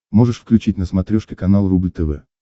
можешь включить на смотрешке канал рубль тв